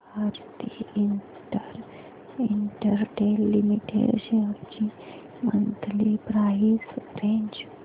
Bharti Airtel limited shares ची monthly price range